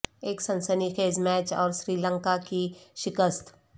ایک سنسی خیز میچ اور سری لنکا کی شکست